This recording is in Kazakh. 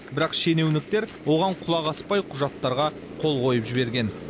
бірақ шенеуніктер оған құлақ аспай құжатарға қол қойып жіберген